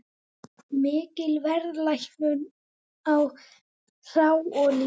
Mikil verðlækkun á hráolíu